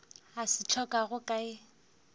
a se hlokago ka ye